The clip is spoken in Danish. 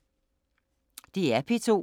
DR P2